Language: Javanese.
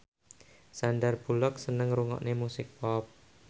Sandar Bullock seneng ngrungokne musik pop